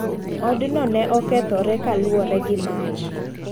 Odno ne okethore kaluwore gi mach.